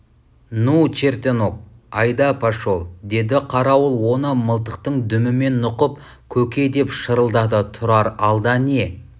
ну чертенок айда пошел деді қарауыл оны мылтықтың дүмімен нұқып көке деп шырылдады тұрар алда не